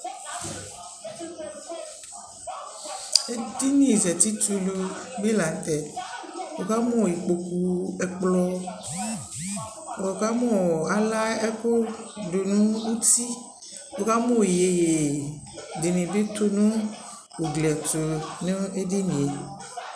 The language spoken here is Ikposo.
Ɛdιnι zati tulu bi la ntɛWu kamu ikpoku, ɛkplɔ Wu ka mu ala ɛku du nu utiWu ka mu iιyeye dι nι bi tu nu ugli yɛ tu nu ɛdι nι yɛ